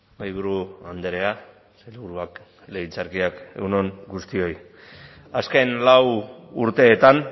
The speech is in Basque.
mahaiburu andrea sailburuak legebiltzarkideak egun on guztioi azken lau urteetan